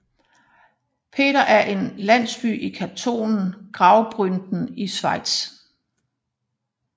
Peter er en landsby i kantonen Graubünden i Schweiz